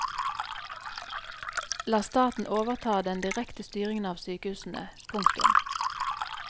La staten overta den direkte styringen av sykehusene. punktum